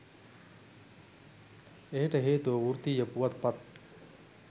එයට හේතුව වෘත්තීය පුවත්පත්